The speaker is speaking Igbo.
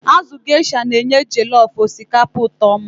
Azụ Gaysha na-enye jellof osikapa ụtọ oma.